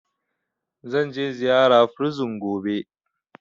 Zanje ziyara prison gobe